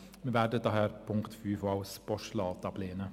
Wir werden deshalb den Punkt 5 auch als Postulat ablehnen.